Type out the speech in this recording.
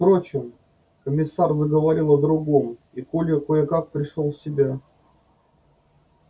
впрочем комиссар заговорил о другом и коля кое как пришёл в себя